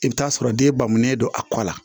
I bɛ t'a sɔrɔ den bangelen don a kɔ la